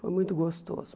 Foi muito gostoso.